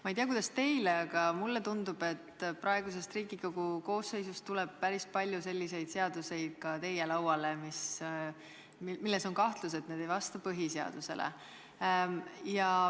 Ma ei tea, kuidas teile, aga mulle tundub, et praegusest Riigikogu koosseisust tuleb päris palju ka teie lauale eelnõusid, mille puhul on kahtlus, et need ei vasta põhiseadusele.